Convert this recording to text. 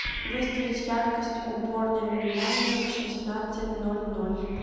выставить яркость уборная минимальную в шестнадцать ноль ноль